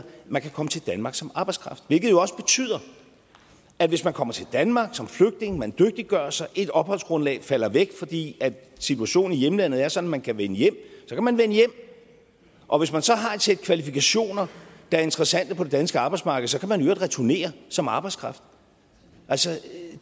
man kan komme til danmark som arbejdskraft hvilket jo også betyder at hvis man kommer til danmark som flygtning og man dygtiggør sig og ens opholdsgrundlag falder væk fordi situationen hjemlandet er sådan at man kan vende hjem så kan man vende hjem og hvis man så har et sæt kvalifikationer der er interessante på det danske arbejdsmarked så kan man i øvrigt returnere som arbejdskraft altså